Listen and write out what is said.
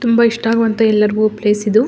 ತುಂಬ ಇಷ್ಟವಾಗುವಂತಹ ಎಲ್ಲರಿಗೂ ಪ್ಲೇಸ್ ಇದು.